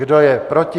Kdo je proti?